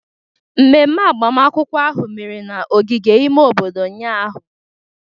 Ememe agbamakwụkwọ ahụ mere n'ogige ime obodo ụnyahụ